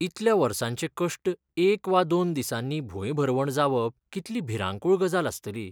इतल्या वर्सांचे कश्ट एक वा दोन दिसांनी भूंयभरवण जावप कितली भिरांकूळ गजाल आसतली.